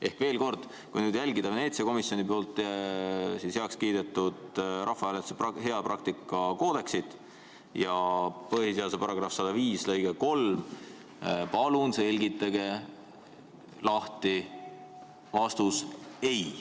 Ehk veel kord, kui jälgida Veneetsia komisjonis heakskiidetud rahvahääletuste hea praktika koodeksit ja põhiseaduse § 105 lõiget 3, siis palun selgitage lahti vastus ei.